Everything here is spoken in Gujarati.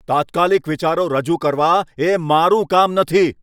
તાત્કાલિક વિચારો રજૂ કરવા એ મારું કામ નથી.